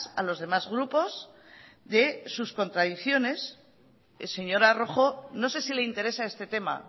a los demás grupos de sus contradicciones señora rojo no sé si le interesa este tema